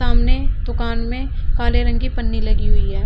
सामने दुकान में काले रंग की पन्नी लगी हुई है।